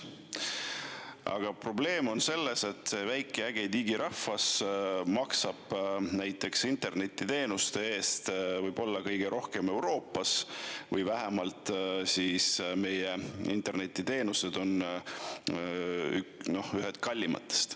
Aga probleem on selles, et see väike äge digirahvas maksab internetiteenuste eest võib-olla kõige rohkem Euroopas või vähemalt meie internetiteenused on ühed kallimatest.